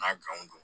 N ka don